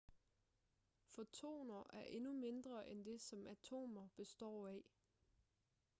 fotoner er endnu mindre end dét som atomer består af